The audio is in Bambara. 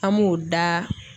An b'o daa